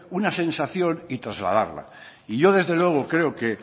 una sensación y trasladarla y yo desde luego creo que